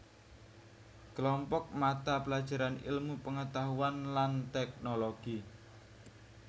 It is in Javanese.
Klompok mata pelajaran ilmu pengetahuan lan teknologi